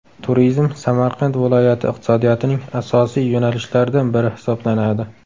Turizm Samarqand viloyati iqtisodiyotining asosiy yo‘nalishlaridan biri hisoblanadi.